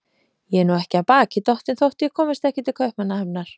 Ég er nú ekki af baki dottin þótt ég komist ekki til Kaupmannahafnar.